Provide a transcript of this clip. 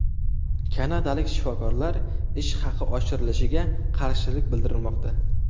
Kanadalik shifokorlar ish haqi oshirilishiga qarshilik bildirmoqda.